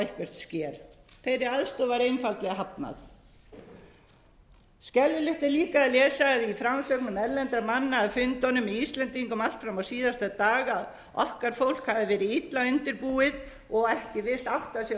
eitthvert sker þeirri aðstoð var einfaldlega hafnað skelfilegt er líka að lesa í frásögnum erlendra manna af fundunum með íslendingum allt fram á síðasta dag að okkar fólk hafi verið illa undirbúið og ekki virst átta sig